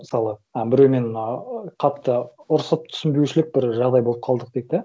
мысалы і біреумен ыыы қатты ұрысып түсінбеушілік бір жағдай болып қалдық дейік да